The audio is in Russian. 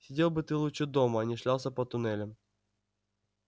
сидел бы ты лучше дома а не шлялся по туннелям